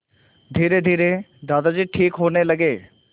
धीरेधीरे दादाजी ठीक होने लगे